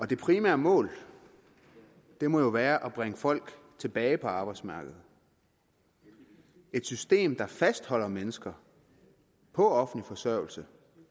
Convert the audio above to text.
det primære mål må jo være at bringe folk tilbage på arbejdsmarkedet et system der fastholder mennesker på offentlig forsørgelse